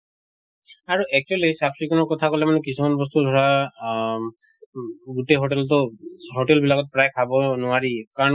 আৰু actually চাফ চিকুণৰ কথা কলে কিছুমান বস্তু ধৰা অম গু গোটেই hotel তʼ hotel বিলাকত প্ৰায় খাব নোৱাৰি কাৰণ